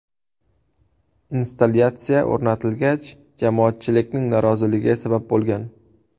Installyatsiya o‘rnatilgach, jamoatchilikning noroziligiga sabab bo‘lgan.